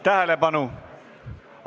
Tähelepanu!